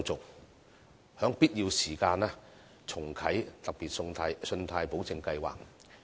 此外，在必要時可重啟"特別信貸保證計劃"。